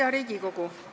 Hea Riigikogu!